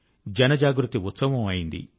జనజాగృతి ఉత్సవం అయింది